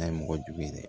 N'a ye mɔgɔ jugu ye dɛ